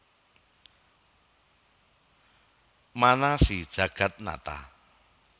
Mana si Jagatnata